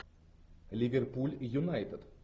ливерпуль юнайтед